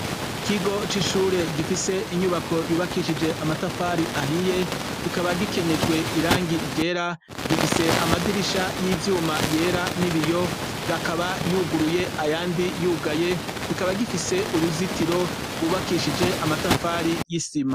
Kigo c'ishure gifise inyubako yubakishije amatafari ahiye kikaba gikenyejwe irangi igera gifise amadirisha y'ivyuma yera nibiyo bakaba yuguruye ayandi yugaye kikaba gifise uruzitiro rwubakishije amatafari y'isima.